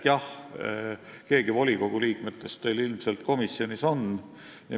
Jah, keegi volikogu opositsiooni liikmetest teil ilmselt komisjonis on.